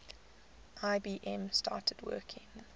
ibm started working